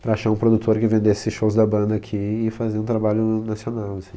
para achar um produtor que vendesse shows da banda aqui e fazer um trabalho nacional, assim.